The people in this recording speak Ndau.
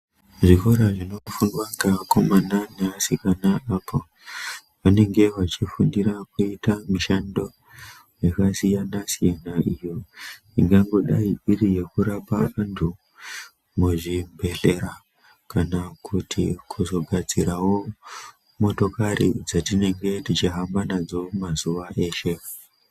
Zvikora zvinofundwa ngeakomana neasikana vanenge vachifundira kuita mushando yakasiyana siyana iyo ingangodayi iri yekurapa antu muzvibhedhlera kana kuti kuzogadzirawo motokari dzatinenge tichihamba nadzo mazuwa eshe.